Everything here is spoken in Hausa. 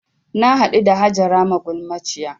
Na haɗu da Hajara magulmaciyar